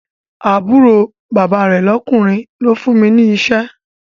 Àbúrò bàbá rẹ̀ lọ́kùnrin ló fún mi ní iṣẹ́